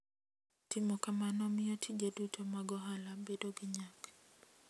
Timo kamano miyo tije duto mag ohala bedo gi nyak.